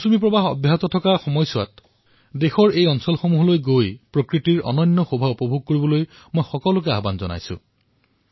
মই আপোনালোক সকলোকে আহ্বান জনাইছো যে দেশৰ এইসমূহ অংশলৈ আপোনালোকে নিশ্চয়কৈ আহক যাৰ সৌন্দৰ্যতা বাৰিষাৰ কালত অধিক হৈ পৰে